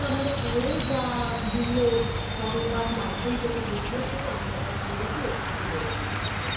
তা আমরা পরে যা বিভিন্ন সংবাদ মাধ্যম থেকে media -কে আমরা যা জেনেছি এইটুকুই জেনেছি